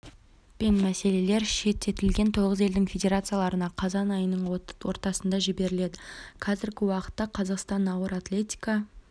пен мәселелер шеттетілген тоғыз елдің федерацияларына қазан айының ортасында жіберіледі қазіргі уақытта қазақстан ауыр атлетика